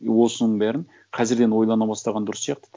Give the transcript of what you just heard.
и осының бәрін қазірден ойлана бастаған дұрыс сияқты ты